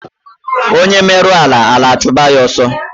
Onye mero ala, ala achụba ya asọ